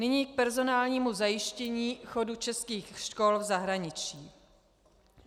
Nyní k personálnímu zajištění chodu českých škol v zahraničí.